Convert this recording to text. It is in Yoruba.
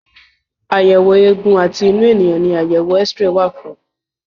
Àyẹ̀wò eégún àti inú ènìyàn ní àyẹ̀wò X-ray wà fún.